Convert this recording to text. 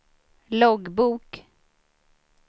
loggbok